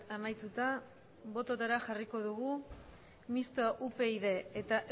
amaituta botoetara jarriko dugu mixtoa upyd eta